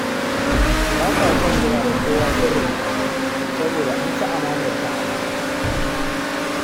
Ba ta son gaya wa kowa sirrinta saboda an ci amanarta a baya